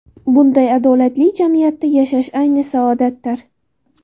Bunday adolatli jamiyatda yashash ayni saodatdir.